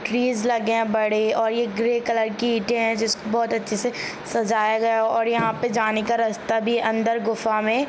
trees लगे है बड़े और ये ग्रे कलर की इटे है जिसको बहुत अच्छे से सजाया है और यहाँ पे जाने का रस्ता भी अंदर गुफा मे--